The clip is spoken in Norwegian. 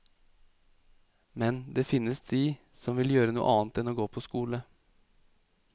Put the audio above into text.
Men det finnes de som vil gjøre noe annet enn å gå på skole.